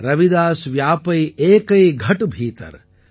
ரவிதாஸ் வ்யாபை ஏகை கட் பீதர்